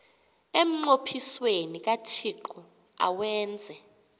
emnqophisweni kathixo awenze